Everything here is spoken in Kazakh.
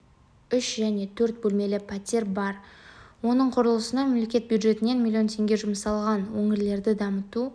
үш және төрт бөлмелі пәтер бар оның құрылысына мемлекет бюджетінен млн теңге жұмсалған өңірлерді дамыту